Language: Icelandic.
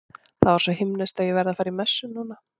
Það var svo himneskt að ég verð að fara í messu núna.